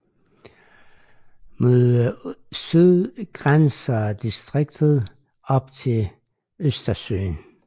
Mod syd grænser distriktet op til Østersøen